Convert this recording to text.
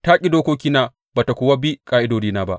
Ta ƙi dokokina ba tă kuwa bi ƙa’idodina ba.